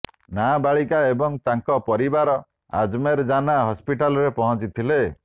ନାବାଳିକା ଏବଂ ତାଙ୍କ ପରିବାର ଆଜମେର ଜାନା ହସ୍ପିଟାଲରେ ପହଞ୍ଚିଥିଲେ